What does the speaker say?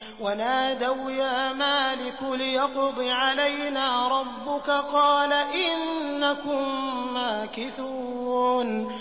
وَنَادَوْا يَا مَالِكُ لِيَقْضِ عَلَيْنَا رَبُّكَ ۖ قَالَ إِنَّكُم مَّاكِثُونَ